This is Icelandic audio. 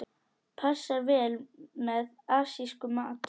Passar vel með asískum mat.